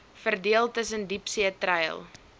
verdeel tussen diepseetreil